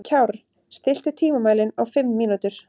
Kjárr, stilltu tímamælinn á fimm mínútur.